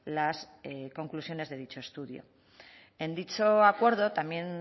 las conclusiones de dicho estudio en dicho acuerdo también